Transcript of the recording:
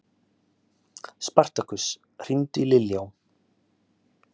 Spartakus, hringdu í Liljá.